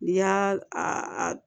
N'i y'a a